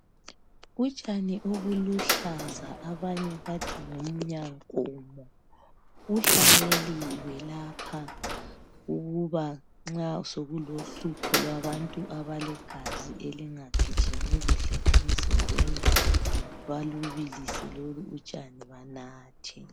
Utshani obuluhlaza abanye bathi ngumnyankomo ,buhlanyeliwe lapha. Ukuba nxa sokulohlupho kwabantu abalegazi elingagijimi kuhle emzimbeni. balubilise lolu utshani banathe.